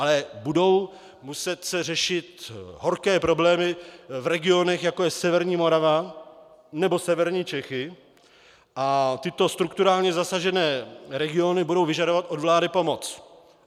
Ale budou se muset řešit horké problémy v regionech, jako je severní Morava nebo severní Čechy, a tyto strukturálně zasažené regiony budou vyžadovat od vlády pomoc.